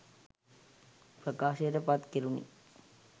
ප්‍රකාශයට පත් කෙරුණි.